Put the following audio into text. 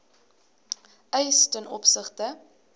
eis ten opsigte